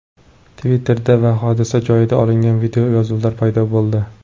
Twitter’da hodisa joyidan olingan videoyozuvlar paydo bo‘ldi.